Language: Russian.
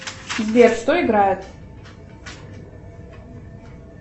сбер что играет